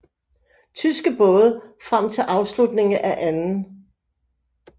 Tyske både frem til afslutningen af 2